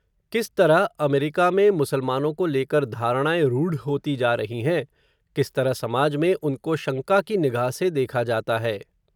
किस तरह, अमेरिका में मुसलमानों को लेकर धारणाएँ, रुढ़ होती जा रही हैं, किस तरह समाज में, उनको शंका की निगाह से देखा जाता है